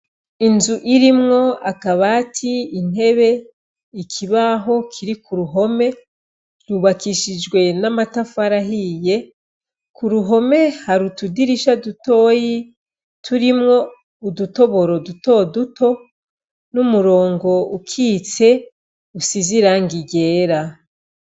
Inzu irimwo akabati, intebe, ikibaho kiri k'uruhome, yubakishijwe n'amatafari ahiye, k'uruhome har'utudirisha dutoyi, turimwo udutoboro duto duto, n'umurongo ukitse usiz'irangi ryera.